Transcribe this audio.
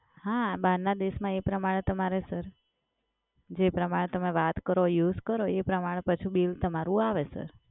હા, બહારના દેશમાં એ પ્રમાણે તમારે સર. જે પ્રમાણે તમે વાત કરો use કરો, એ પ્રમાણે પાછું બિલ તમારું આવે સર.